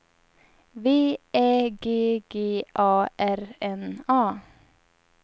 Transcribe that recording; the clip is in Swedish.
V Ä G G A R N A